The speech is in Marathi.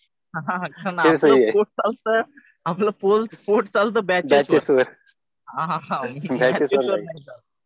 आपलं पोट चालतं बॅचेस वर. मॅचेस वर नाही चालत.